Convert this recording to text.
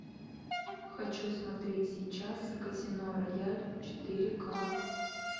хочу смотреть сейчас казино рояль четыре ка